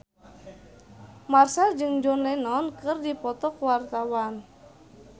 Marchell jeung John Lennon keur dipoto ku wartawan